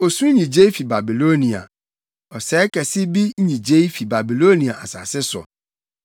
“Osu nnyigyei bi fi Babilonia, ɔsɛe kɛse bi nnyigyei fi Babiloniafo asase so.